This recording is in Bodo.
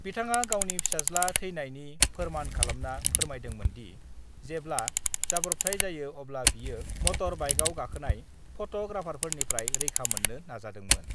बिथाङा गावनि फिसाज्ला थैनायनि फोरमान खालामना फोरमायदोंमोनदि, जेब्ला जाब्रबथाइ जायो अब्ला बियो मटर बाइकआव गाखोनाय फट'ग्राफारफोरनिफ्राय रैखा मोन्नो नाजादोंमोन I